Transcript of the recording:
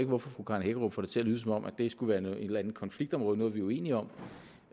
hvorfor fru karen hækkerup får det til at lyde som om det skulle være et eller andet konfliktområde noget vi er uenige om